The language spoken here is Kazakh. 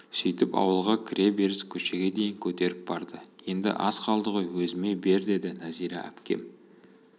сөйтіп ауылға кіре беріс көшеге дейін көтеріп барды енді аз қалды ғой өзіме бер деді нәзира әпкем